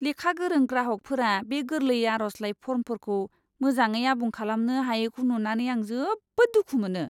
लेखा गोरों ग्राहकफोरा बे गोरलै आर'जलाइ फर्मफोरखौ मोजाङै आबुं खालामनो हायैखौ नुनानै आं जोबोद दुखु मोनो!